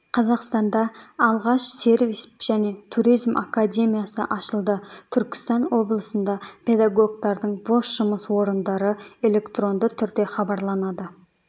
қазақстанда алғаш сервис және туризм академиясы ашылды түркістан облысында педагогтардың бос жұмыс орындары электронды түрде хабарланады